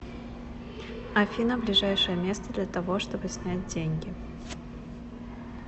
афина ближайшее место для того чтобы снять деньги